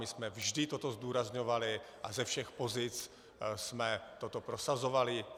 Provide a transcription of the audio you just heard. My jsme vždy toto zdůrazňovali a ze všech pozic jsme toto prosazovali.